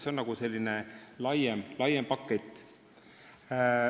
See on selline laiem pakett.